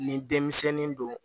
Ni denmisɛnin don